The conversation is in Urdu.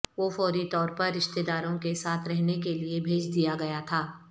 وہ فوری طور پر رشتہ داروں کے ساتھ رہنے کے لئے بھیج دیا گیا تھا